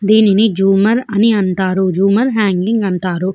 దీనిని జూమర్ అంటారు జూమర్ హంగింగ్ అంటారు.